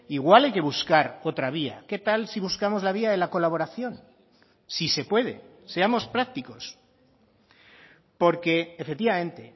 igual hay que buscar otra vía qué tal si buscamos la vía de la colaboración si se puede seamos prácticos porque efectivamente